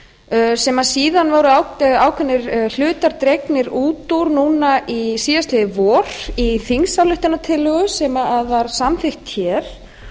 heilbrigðisstefna sem síðan voru ákveðnir hlutar dregnir út úr núna síðastliðið vor í þingsályktunartillögu sem var samþykkt hér